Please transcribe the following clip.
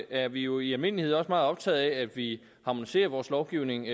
er vi jo i almindelighed også meget optaget af at vi harmoniserer vores lovgivning